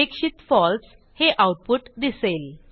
अपेक्षित फळसे हे आऊटपुट दिसेल